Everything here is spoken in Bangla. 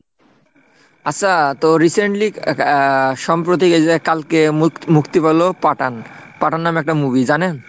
আচ্ছা তো recently আহ সম্প্রতি এই যে কালকে মু~মুক্তি পেল পাঠান, পাঠান নামে একটা movie জানেন?